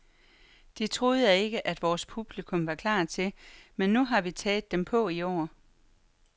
Det troede jeg ikke, at vores publikum var klar til, men nu har vi taget dem på i år.